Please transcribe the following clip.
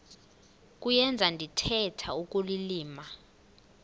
kuyenza ndithetha ukulilima